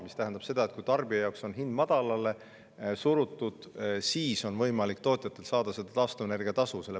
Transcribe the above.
See tähendab seda, et kui tarbija jaoks on hind madalale surutud, siis on võimalik tootjatel saada taastuvenergia tasu.